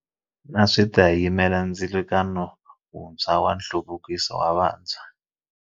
NA swi ta yimela ndzilikano wuntshwa wa nhluvukiso wa vantshwa.